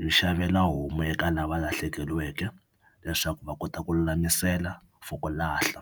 Yi xavela homu eka lava lahlekeriweke leswaku va kota ku lulamisela for ku lahla.